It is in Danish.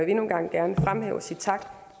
endnu en gang gerne fremhæve og sige tak